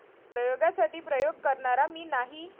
प्रयोगासाठी प्रयोग करणारा मी नाही!